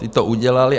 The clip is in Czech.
Ti to udělali.